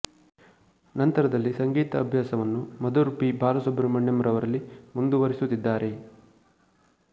ನಂತರದಲ್ಲಿ ಸಂಗೀತ ಅಭ್ಯಾಸವನ್ನು ಮಧುರ್ ಪಿ ಬಾಲಸುಬ್ರಹ್ಮಣ್ಯ ರವರಲ್ಲಿ ಮುಂದುವರೆಸುತ್ತಿದ್ದಾರೆ